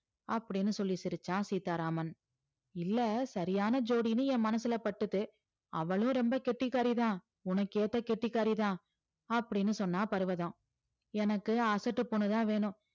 அப்படீன்னு சொல்லி சிரிச்சான் சீதாராமன் இல்ல சரியான ஜோடின்னு என் மனசுல பட்டுது அவளும் ரொம்ப கெட்டிக்காரிதான் உனக்கேத்த கெட்டிக்காரி தான் அப்படீன்னு சொன்னா பர்வதம் எனக்கு அசட்டு பொண்ணு தான் வேணும்